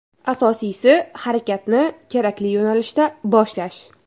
Asosiysi harakatni kerakli yo‘nalishda boshlash.